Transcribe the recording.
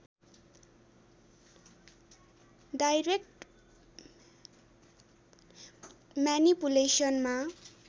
direct म्यानिपुलेसनमा